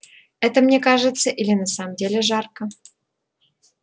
это мне кажется или на самом деле жарко